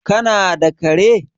kana da kare?